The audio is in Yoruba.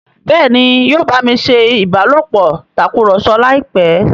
Béèni yóò bámi ṣé ìbálòpọ̀ Tàkùrọ̀sọ láìpé.